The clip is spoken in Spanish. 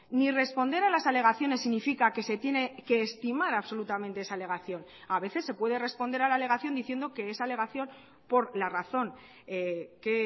ni responder a las alegaciones significa que se tiene que estimar absolutamente esa alegación a veces se puede responder a la alegación diciendo que esa alegación por la razón que